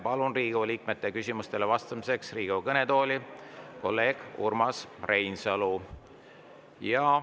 Palun Riigikogu liikmete küsimustele vastamiseks Riigikogu kõnetooli kolleeg Urmas Reinsalu.